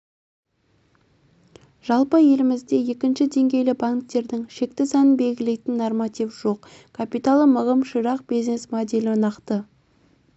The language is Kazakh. жалпы елімізде екінші деңгейлі банктердің шекті санын белгілейтін норматив жоқ капиталы мығым ширақ бизнес моделі нақты